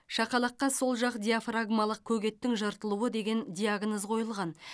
шақалаққа сол жақ диафрагмалық көк еттің жыртылуы деген диагноз қойылған